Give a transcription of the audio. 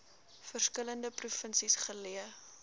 verskillende provinsies geleë